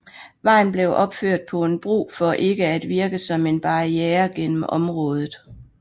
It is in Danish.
Vejen blev opført på en bro for ikke at virke som en barriere gennem området